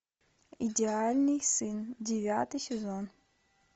идеальный сын девятый сезон